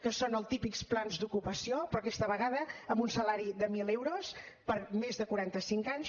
que són els típics plans d’ocupació però aquesta vegada amb un salari de mil euros per a més de quaranta cinc anys